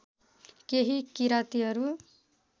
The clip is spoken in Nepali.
केही किरातीहरू